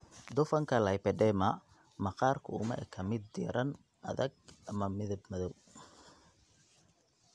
Dufanka lipedema, maqaarku uma eka mid diirran, adag (sclerotika), ama midab madow.